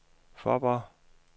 Fåborg